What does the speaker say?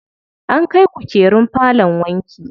An kai kukerun falon wanki.